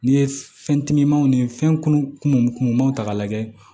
N'i ye fɛn timimanw ni fɛn kunun kunmaw ta ka lajɛ